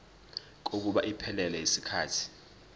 kokuba iphelele yisikhathi